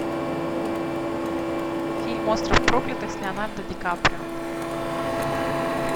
фильм остров проклятых с леонардо ди каприо